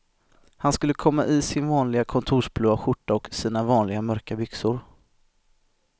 Han skulle komma i sin vanliga kontorsblåa skjorta och sina vanliga mörka byxor.